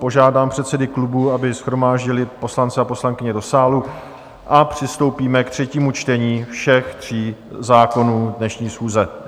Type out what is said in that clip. Požádám předsedy klubů, aby shromáždili poslance a poslankyně do sálu, a přistoupíme k třetímu čtení všech tří zákonů dnešní schůze.